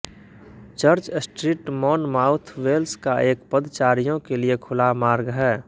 church street Monmouth Wales का एक पद्चारियों के लिए खुला मार्ग है